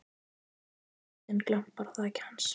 björt nóttin glampar á þaki hans.